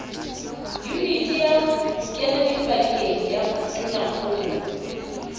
yuniti ya bokenadipakeng ya tonakgolo